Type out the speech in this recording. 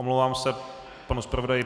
Omlouvám se panu zpravodaji.